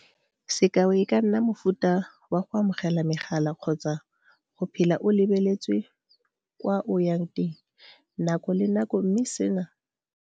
Sekao, e ka nna ka mofuta wa go amogela megala kgotsa go phela o lebeletswe kwa o ya teng nako le nako mme seno se tlhola gore o nne o tshogile.